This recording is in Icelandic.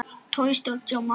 Við komum líka með lausn.